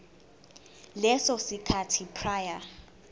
leso sikhathi prior